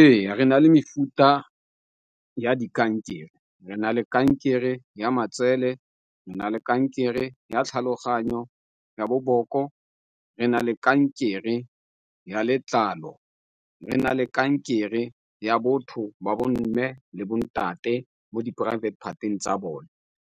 Ee, re na le mefuta ya di kankere. Re na le kankere ya matsele, re na le kankere ya tlhaloganyo, ya boboko, re na le kankere ya letlalo, re na le kankere ya botho ba bo mme le bontate mo di poraefete part-eng tsa bone,